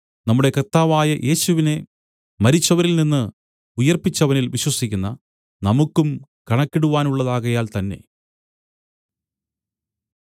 നമ്മുടെ കർത്താവായ യേശുവിനെ മരിച്ചവരിൽനിന്ന് ഉയിർപ്പിച്ചവനിൽ വിശ്വസിക്കുന്ന നമുക്കും കണക്കിടുവാനുള്ളതാകയാൽ തന്നേ